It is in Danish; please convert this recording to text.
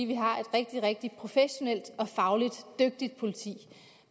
vi har et rigtig rigtig professionelt og fagligt dygtigt politi